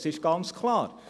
Es ist ganz klar.